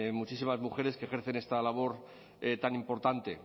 muchísimas mujeres que ejercen esta labor tan importante